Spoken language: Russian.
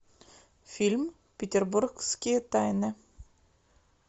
фильм петербургские тайны